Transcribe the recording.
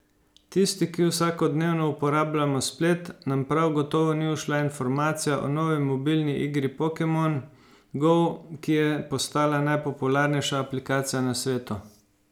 Tisti, ki vsakodnevno uporabljamo splet, nam prav gotovo ni ušla informacija o novi mobilni igri Pokemon Go, ki je postala najpopularnejša aplikacija na svetu.